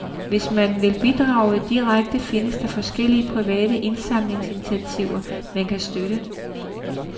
Hvis man vil bidrage direkte, findes der forskellige private indsamlingsinitiativer, man kan støtte.